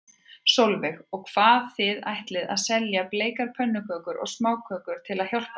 Sólveig: Og hvað, þið ætlið að selja bleikar pönnukökur og smákökur til að hjálpa þeim?